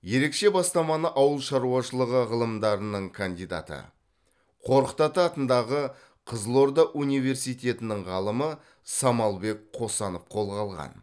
ерекше бастаманы ауыл шаруашылығы ғылымдарының кандидаты қорқыт ата атындағы қызылорда университетінің ғалымы самалбек қосанов қолға алған